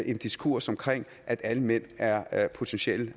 en diskurs om at alle mænd er er potentielle